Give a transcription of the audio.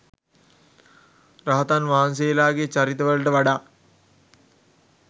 රහතන් වහන්සේලාගේ චරිත වලට වඩා